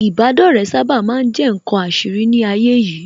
Ìbádọ́rẹ̀ẹ́ sábà ma ń jẹ́ ǹkan àṣírí ní ayé yìí